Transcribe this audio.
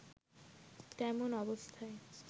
তেমন অবস্থায়